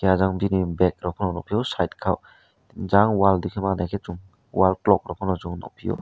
ajang bini bedrok phano nukphio side khao jang wall dikhe manaikhe chung wall clock rok phano chung nukphio.